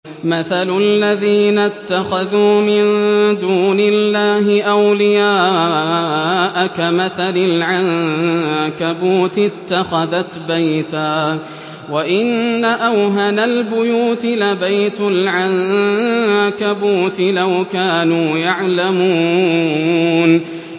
مَثَلُ الَّذِينَ اتَّخَذُوا مِن دُونِ اللَّهِ أَوْلِيَاءَ كَمَثَلِ الْعَنكَبُوتِ اتَّخَذَتْ بَيْتًا ۖ وَإِنَّ أَوْهَنَ الْبُيُوتِ لَبَيْتُ الْعَنكَبُوتِ ۖ لَوْ كَانُوا يَعْلَمُونَ